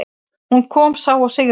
Hún kom, sá og sigraði.